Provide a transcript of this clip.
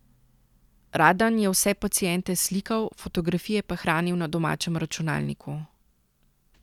Radan je vse paciente slikal, fotografije pa hranil na domačem računalniku.